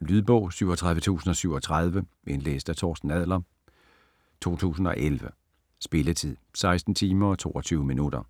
Lydbog 37037 Indlæst af Torsten Adler, 2011. Spilletid: 16 timer, 22 minutter.